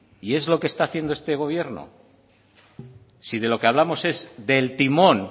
si de lo que hablamos es del timón